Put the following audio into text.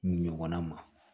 Ɲɔgɔnna ma